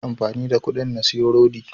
Zan amfani da kuɗin na siyi rodi